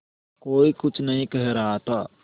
कोई कुछ नहीं कह रहा था